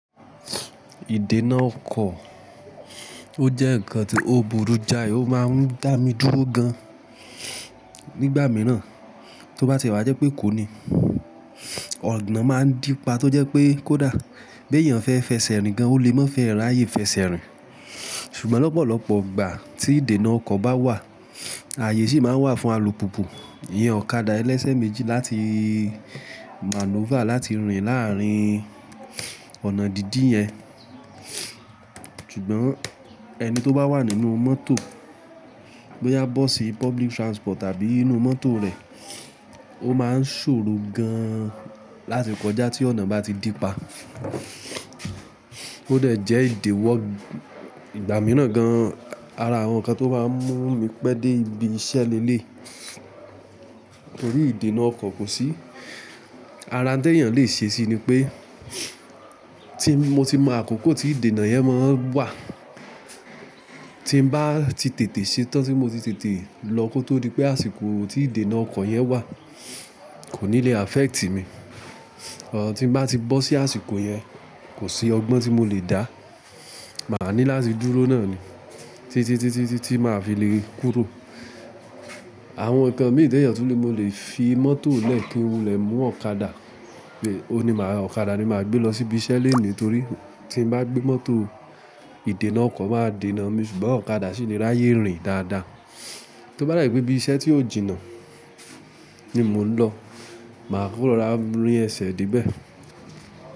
Ìdènà ọkọ̀, ó jẹ́ ǹkan tó burú jáì, ó máa ń dà mí dúró gan nígbà mìíràn, tó bá ti wá jẹ́ pé ekò ní, ọ̀nà máa ń dípa tó jẹ́ pé kódà, b'èèyàn fẹ́ fẹsẹ̀ rìn gan, ó lè má fẹ́e ráyè fẹsẹ̀ rìn. Ṣùgbọ́n lọ́pọ̀lọpọ̀ ìgbà tí ìdènà ọkọ̀ bá wà, ààyè sì máa wà fún alùpùpù, ìyẹn ọ̀kadà ẹlẹ́sẹ̀ méjì láti maneuver láti rìn láàrín ọ̀nà dídí yẹn. Ṣùgbọ́n ẹni tó bá wà nínú mọ́tò, bóyá bọ́ọ̀sì, public transport tàbí inú mọ́tò rẹ̀, ó máa ń ṣòro gan láti kọjá tí ọ̀nà bá ti dí pa. Ó dẹ̀ jẹ́ ìdiwọ́ ìgbà mìíràn gan ara àwọn ǹkan tó maá mú mi pẹ́ dé ibi iṣẹ́ lẹ́léyi. Torí ìdènà ọkọ̀ kò sí, ara n tèèyàn lè ṣe sí i ni pé tí mo ti mọ àkókò tí ìdènà yẹn máa n wà, tí mbá ti tètè ṣe tán tí mo ti tètè lọ kó tó di pé àsìkò tí ìdènà ọkọ̀ yẹn wà kò ní le affect mi. Bo tí mbá ti bọ́ sí àsìkò yẹn, kò sí ọgbọ́n tí mo lè dá, màá ní láti dúró náà ni, títí tí tí máa fi lè kúrò. Àwọn ǹnkan mí teeyan tun le mo lè fi mọ́tò lẹ́ kí wulẹ mú ọ̀kadà, pé òun ni máa ọ̀kadà ni máa gbé lọ sí ibi iṣẹ́ lénìí torí tí mbá gbé mọ́tò, ìdènà ọkọ̀ máa dènà mi ṣùgbọ́n ọ̀kadà sì le ráyè rìn dáadáa. Tó bá je pe ibi iṣẹ́ tí ó jìnnà ni mo ń lọ, màá kú rora rín ẹsẹ̀ de bẹ̀